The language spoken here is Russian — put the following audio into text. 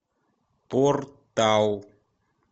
портал